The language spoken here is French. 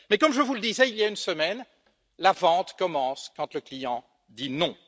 Mais, comme je vous le disais il y a une semaine, la vente commence quand le client dit non.